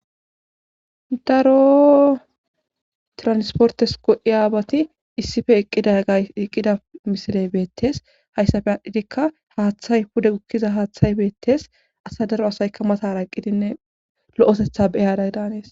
daro transportes go7iyaabati issippe eqqida gay eqqida misiley beettes hayssappe adhdhidikka haaththay pude gukkiza haaththay beettes asa daro asaykka matara eqqidinne lo7osetha beyada daanees